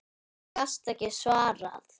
Því gastu ekki svarað.